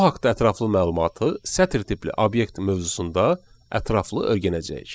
Bu haqda ətraflı məlumatı sətir tipli obyekt mövzusunda ətraflı öyrənəcəyik.